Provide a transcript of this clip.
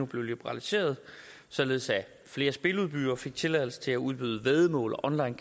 blev liberaliseret således at flere spiludbydere fik tilladelse til at udbyde væddemål og